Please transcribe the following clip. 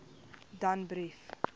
danbrief